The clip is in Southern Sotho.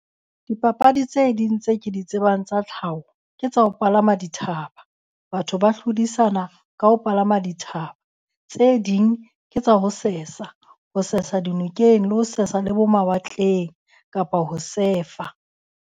Dipapadi tse ding tse ke di tsebang tsa tlhaho ke tsa ho palama dithaba. Batho ba hlodisana ka ho palama dithaba. Tse ding ke tsa ho sesa, ho sesa dinokeng le ho sesa le bo mawatleng kapa ho sefa.